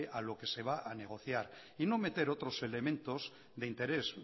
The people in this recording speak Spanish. a lo que se va a negociar y no meter otros elementos de interés